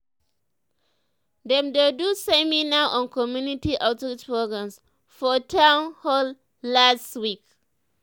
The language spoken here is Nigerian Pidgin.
dem do seminar on community outreach programs for town hall last week.